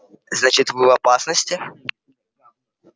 значит вы в опасности